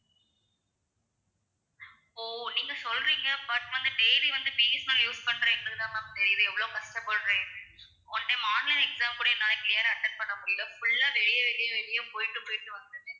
ஓ நீங்க சொல்றீங்க but வந்து daily B. S. N. L use பண்ற எங்களுக்குதான் ma'am தெரியுது எவ்வளவு கஷ்டப்படுறேன்னு one time online exam கூட என்னால clear ஆ attend பண்ண முடியல full ஆ வெளிய வெளிய வெளிய போய்ட்டு போய்ட்டு வந்தேன்